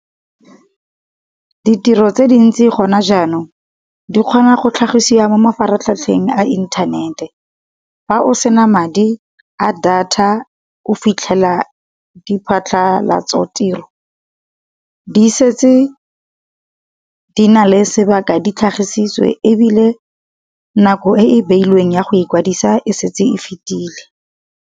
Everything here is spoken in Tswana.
Ditiro tse dintsi gona jaanong di kgona go tlhagisiwa mo mafaratlhatlheng a inthanete, fa o sena madi a data o fitlhela di phatlhalatso-tiro di setse di na le sebaka di tlhagisiwe ebile nako e e beilweng ya go ikwadisa e setse e fetile.